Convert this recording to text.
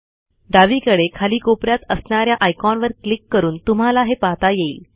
डावीकडे खाली कोपऱ्यात असणाऱ्या आयकॉनवर क्लिक करून तुम्हाला हे पाहता येईल